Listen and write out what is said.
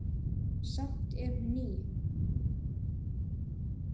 Samt er hún ný.